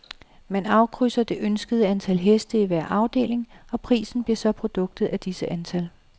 Man afkrydser det ønskede antal heste i hver afdeling, og prisen bliver så produktet af disse antal.